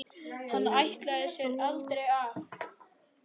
Hann ætlaði sér aldrei af.